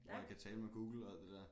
Hvor jeg kan tale med Google og alt det der